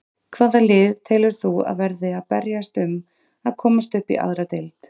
Hvaða lið telur þú að verði að berjast um að komast upp í aðra deild?